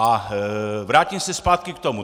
A vrátím se zpátky k tomu.